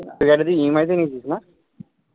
এই গাড়িটা তুই EMI তে নিয়েছিস না?